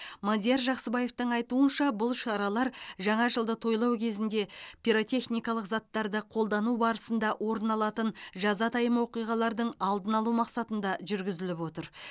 мадияр жақсыбаевтың айтуынша бұл шаралар жаңа жылды тойлау кезінде пиротехникалық заттарды қолдану барысында орын алатын жазатайым оқиғалардың алдын алу мақсатында жүргізіліп отыр